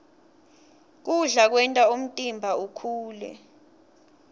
kudla kwenta umtimba ukhule